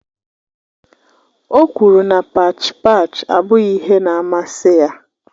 O kwuru na pach pach abụghị ihe na amasị ya